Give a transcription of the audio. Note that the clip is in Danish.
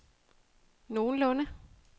nogenlunde